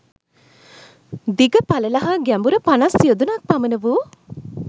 දිග, පළල හා ගැඹුර පනස් යොදුනක් පමණ වූ